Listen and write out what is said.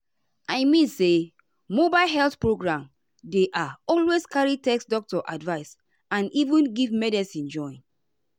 i mean say mobile health program dey ah always carry test doctor advice and even give medicine join.